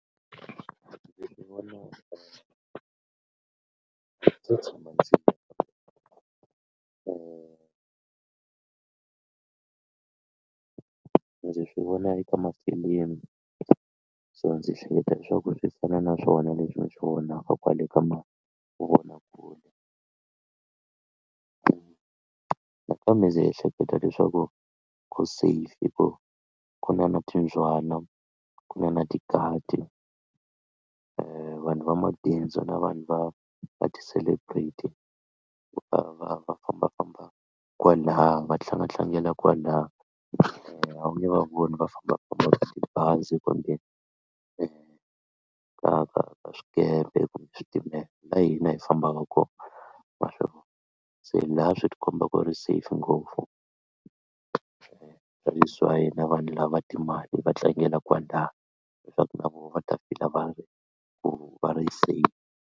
ndzo tshama ndzi swi vona eka mafilimu so ndzi hleketa leswaku swi fana na swona leswi swi vonaka kwale ka mavonakule ku nakambe ndzi ehleketa leswaku ku safe hikuva ku na na timbyana ku na na tigadi vanhu va mabindzu na vanhu va va ti-celebrity ku ta va va fambafamba kwalaha va tlanga tlangela kwalaha a wu nge va voni va fambafamba hi tibazi kumbe ka ka ka ka swikepe kumbe switimela laha hina hi fambaka kona wa swona se laha swi ti komba ku ri safe ngopfu vanhu lava timali va tlangela kwalaya na vona va ta fika va ri ku va ri safe.